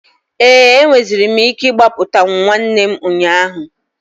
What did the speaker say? Ee, enweziri m ike ịgbapụtawu nwanne m ụnyaahụ.